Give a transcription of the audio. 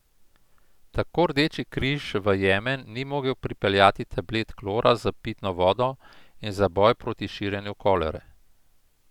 Tako Rdeči križ v Jemen ni mogel pripeljati tablet klora za pitno vodo in za boj proti širjenju kolere.